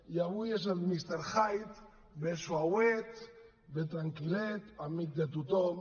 i avui és el ve suauet ve tranquil·let amic de tothom